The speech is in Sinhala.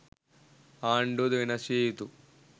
ආණ්ඩුව ද වෙනස් විය යුතු